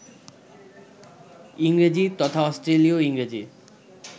ইংরেজি, তথা অস্ট্রেলীয় ইংরেজি